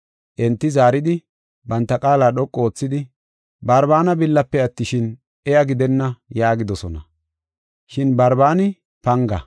Enti zaaridi, banta qaala dhoqu oothidi, “Barbaana billafe attishin, iya gidenna” yaagidosona. Shin Barbaani panga.